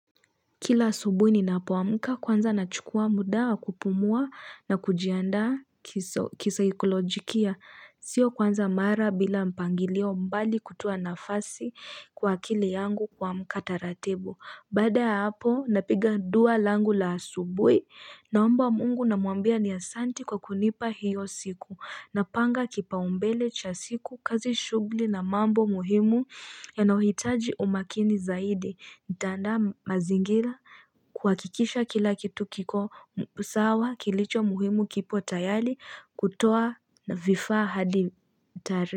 Kila asubuhi ninapoamka kwanza nachukua muda wa kupumua na kujianda kisaikolojikia. Sio kwanza mara bila mpangilio mbali kutuo nafasi kwa akili yangu kuamka taratibu. Baada ya hapo napiga dua langu la asubuhi naomba mungu namwambia ni asante kwa kunipa hiyo siku. Napanga kipa umbele cha siku, kazi shuguli na mambo muhimu yanayohitaji umakini zaidi. Nitaanda mazingira kuhakikisha kila kitu kiko sawa kilicho muhimu kipo tayali kutoa na vifaa hadi tari.